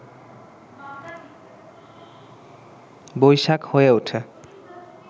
বৈশাখ হয়ে উঠে